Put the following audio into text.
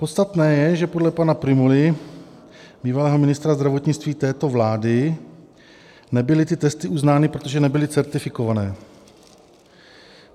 Podstatné je, že podle pana Prymuly, bývalého ministra zdravotnictví této vlády, nebyly ty testy uznány, protože nebyly certifikované.